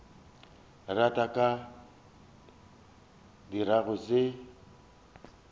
rata a ka dirago se